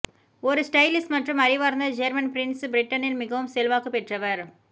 ஒரு ஸ்டைலிஷ் மற்றும் அறிவார்ந்த ஜேர்மன் பிரின்ஸ் பிரிட்டனில் மிகவும் செல்வாக்கு பெற்றவர்